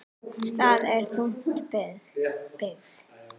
Það er þung byrði.